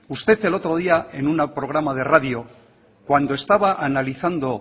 usted el otro día en un programa de radio cuando estaba analizando